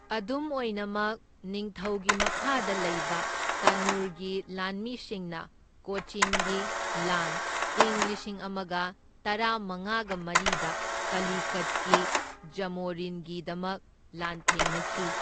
ꯑꯗꯨꯝ ꯑꯣꯏꯅꯃꯛ, ꯅꯤꯡꯊꯧꯒꯤ ꯃꯈꯥꯗ ꯂꯩꯕ ꯇꯥꯅꯨꯔꯒꯤ ꯂꯥꯟꯃꯤꯁꯤꯡꯅ ꯀꯣꯆꯤꯟꯒꯤ ꯂꯥꯟ ꯢꯪ ꯂꯤꯁꯤꯡ ꯑꯃꯒ ꯇꯔꯥꯃꯉꯥꯒ ꯃꯔꯤꯗ ꯀꯂꯤꯀꯠꯀꯤ ꯖꯥꯃꯣꯔꯤꯟꯒꯤꯗꯃꯛ ꯂꯥꯟꯊꯦꯡꯅꯈꯤ꯫